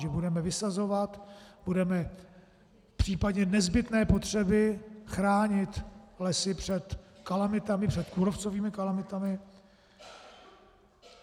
Že budeme vysazovat, budeme v případě nezbytné potřeby chránit lesy před kalamitami, před kůrovcovými kalamitami.